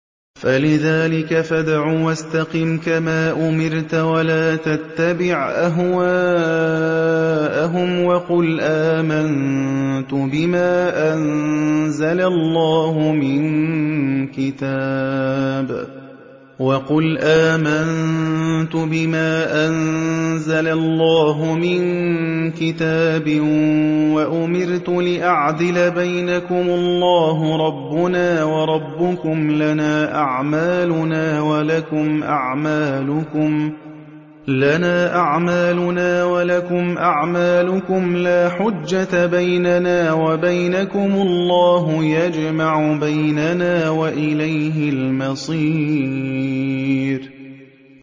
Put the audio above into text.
فَلِذَٰلِكَ فَادْعُ ۖ وَاسْتَقِمْ كَمَا أُمِرْتَ ۖ وَلَا تَتَّبِعْ أَهْوَاءَهُمْ ۖ وَقُلْ آمَنتُ بِمَا أَنزَلَ اللَّهُ مِن كِتَابٍ ۖ وَأُمِرْتُ لِأَعْدِلَ بَيْنَكُمُ ۖ اللَّهُ رَبُّنَا وَرَبُّكُمْ ۖ لَنَا أَعْمَالُنَا وَلَكُمْ أَعْمَالُكُمْ ۖ لَا حُجَّةَ بَيْنَنَا وَبَيْنَكُمُ ۖ اللَّهُ يَجْمَعُ بَيْنَنَا ۖ وَإِلَيْهِ الْمَصِيرُ